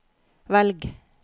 velg